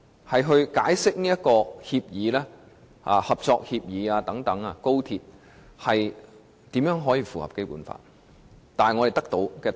如何解釋這份高鐵合作協議，才能符合《基本法》的規定？